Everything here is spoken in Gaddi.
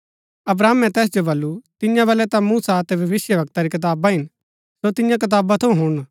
अब्राहमे तैस जो बल्लू तियां बलै ता मूसा अतै भविष्‍यवक्ता री कताबा हिन सो तियां कताबा थऊँ हुणन